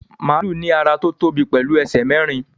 Màlúù ní ara tó tóbi pẹ̀lú ẹsẹ̀ mẹ́rin